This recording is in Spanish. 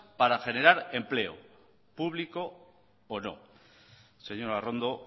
para generar empleo público o no señora arrondo